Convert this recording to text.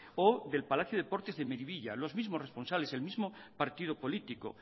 o del palacio de deportes de miribilla los mismos responsables el mismo partido político